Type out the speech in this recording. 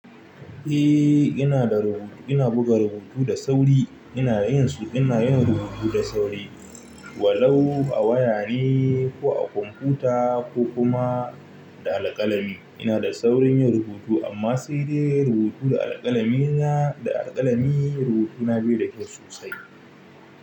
Eh, ina da rubutu, ina buga rubutu da sauri. Ina da yin su, ina yin rubutu da sauri. Walau a waya ne ko a kwamfuta ko kuma da alƙalami. Ina da saurin yin rubutu amma sai dai rubutu da alƙalami na, da alƙalami rubutuna bai da kyau sosai.